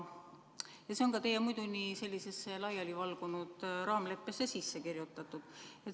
See on ka teie muidu nii laialivalgunud raamleppesse sisse kirjutatud.